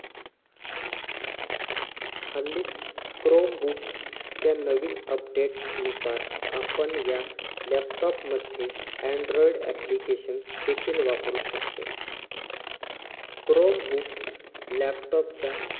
हल्लीच chrome book च्या नवीन update नुसार आपण या laptop मध्ये android application देखील वापरू शकतो. chrome book laptop च्या